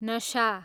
नसा